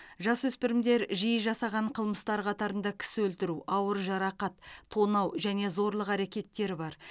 жасөспірімдер жиі жасаған қылмыстар қатарында кісі өлтіру ауыр жарақат тонау және зорлық әрекеттері бар